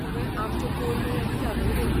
तुवें आमच्यो पोरण्यो यादी जागयल्यो.